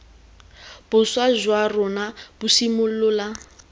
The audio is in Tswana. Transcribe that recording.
boswa jwa rona bo simolola